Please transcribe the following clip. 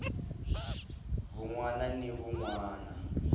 wun wana ni wun wana